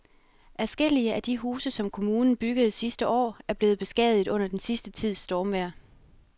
Adskillige af de huse, som kommunen byggede sidste år, er blevet beskadiget under den sidste tids stormvejr.